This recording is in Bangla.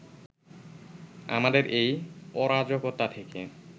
আমাদের এই অরাজকতা থেকে